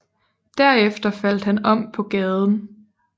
Derefter faldt han om på gaden